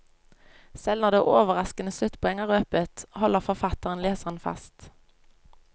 Selv når det overraskende sluttpoeng er røpet, holder forfatteren leseren fast.